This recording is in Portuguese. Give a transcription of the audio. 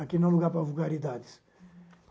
Aqui não é lugar para vulgaridades.